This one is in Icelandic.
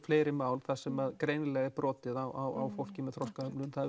fleiri mál þar sem greinilega er brotið á fólki með þroskahömlun það